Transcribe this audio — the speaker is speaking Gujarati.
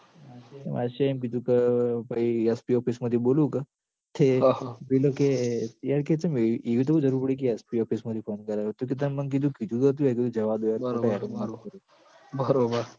બાદશાહે એમ કીધું ક ભઈ SP office મથી બોલું ક પછી પેલો કે PI કે ચમ એ એવી હું જરૂર પડી ક SP office માંથી phone કરાયો કીધું તાન મન કીધું કીધું તો હતું યાર કીધું જવા દો યાર ખોટા નાટકો ના કરો